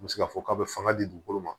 U bɛ se k'a fɔ k'a bɛ fanga di dugukolo ma